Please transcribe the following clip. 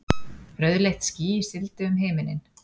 Rauðleitt ský sigldi um himininn.